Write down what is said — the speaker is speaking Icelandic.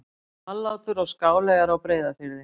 Hvallátur og Skáleyjar á Breiðafirði.